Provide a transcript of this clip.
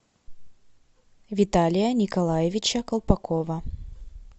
виталия николаевича колпакова